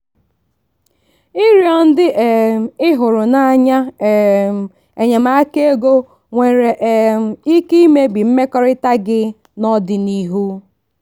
ịrịọ ndị um ị hụrụ n'anya um enyemaka ego nwere um ike imebi mmekọrịta gị n'ọdịnihu.